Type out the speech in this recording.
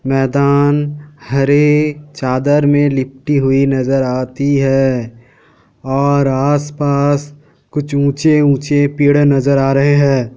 मैदान हरी चादर में लिपटी हुई नज़र आती है और आस-पास कुछ ऊंचे-ऊंचे पेड़ नज़र आ रहे हैं।